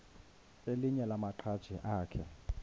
elinye lamaqhaji akhe